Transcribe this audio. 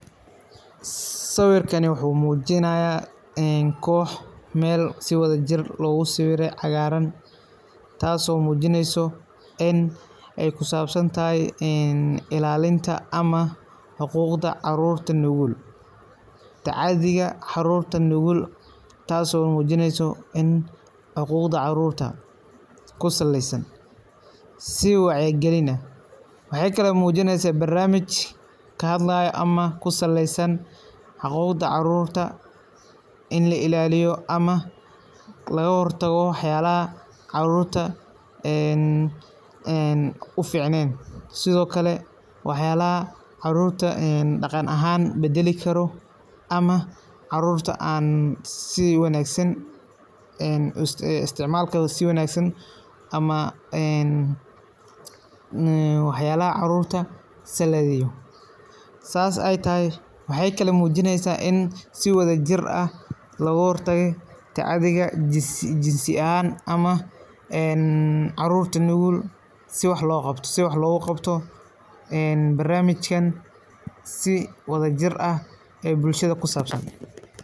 Sawirkan wuxuu muujinayaa koox si wadajir looga sawiray cagaaran, taas oo muujinayso in ay ku saabsan tahay ilaalinta ama xuquuqda ilmaha nugul, tacaddiga ilmaha nugul, taas oo muujinayso xuquuqda ilmaha ku saleysan si wacyigelin ah. Maxay kale ee muujinaysaa? Barnaamij ka hadlayo ama ku saleysan xuquuqda carruurta, in la ilaaliyo ama laga hortago waxyaalaha carruurta aan u fiicneyn. Sidoo kale waxyaalaha carruurta dhaqan ahaan beddeli karo ama isticmaalka aan wanaagsaneyn, ama waxyaalaha carruurta saameeya. Sidaas ayay tahay, waxay kale ay muujinaysaa in si wadajir ah looga hortago tacaddiga jinsiga ah ama carruurta nugul, si waax looga qabto ee barnaamijka si wadajir ah oo bulshada ku saabsan.